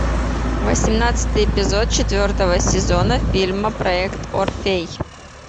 восемнадцатый эпизод четвертого сезона фильма проект орфей